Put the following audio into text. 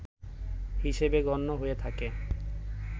হিসেবে গণ্য হয়ে থাকে